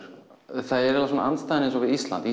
það er andstaðan við Ísland